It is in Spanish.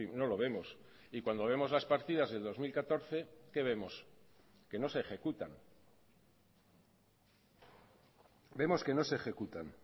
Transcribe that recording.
no lo vemos y cuando vemos las partidas del dos mil catorce qué vemos que no se ejecutan vemos que no se ejecutan